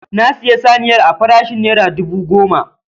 Na siyi saniyar a farashin naira dubu goma